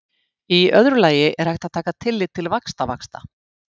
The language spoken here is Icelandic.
í öðru lagi er hægt að taka tillit til vaxtavaxta